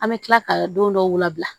An bɛ tila ka don dɔw la bila